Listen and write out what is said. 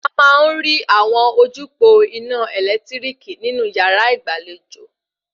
A máa ń rí àwọn ojúpòó ina ẹ̀lẹ́tíríkì nínú yàrá ìgbàlejò